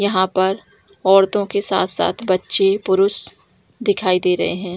यहां पर औरतों के साथ-साथ बच्चे पुरूष दिखाई दे रहे हैं।